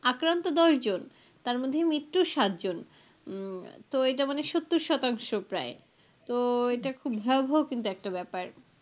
আক্রান্ত দশ জন তার মধ্যে মৃত্যু সাত জন উম তো এটা মানে সত্তর শতাংশ প্রায় তো এটা খুব ভয়াবহ কিন্তু একটা ব্যাপার.